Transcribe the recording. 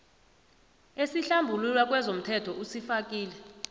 esikuhlambulula kezomthelo usifakile